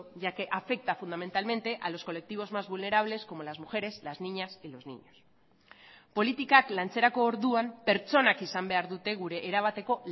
ya que afecta fundamentalmente a los colectivos más vulnerables como las mujeres las niñas y los niños politikak lantzerako orduan pertsonak izan behar dute gure erabateko